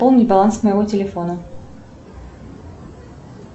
пополни баланс моего телефона